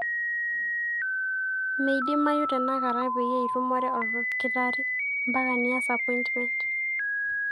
meidimayu tenakata peyie itumore olkitari mpaka niyas appointment